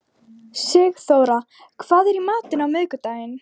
Sigþóra, hvað er í matinn á miðvikudaginn?